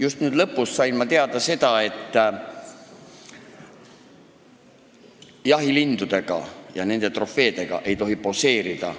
Just nüüd siin lõpus sain ma teada, et jahilindude ja selliste trofeedega ei tohi poseerida.